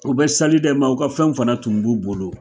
O bɛ sali kɛ nka ka fɛn wfana tun b'u bolo!